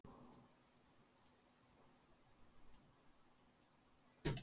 Otti óttast ekki neitt!